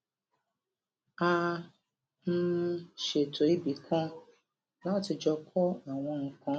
a um ṣètò ibìkan láti jọ kó àwọn nǹkan